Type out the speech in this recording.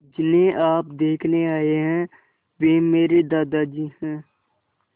जिन्हें आप देखने आए हैं वे मेरे दादाजी हैं